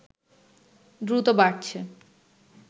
দ্রুত বাড়ছে